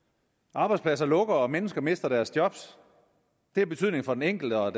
arbejdspladser lukker og mennesker mister deres job det har betydning for den enkelte og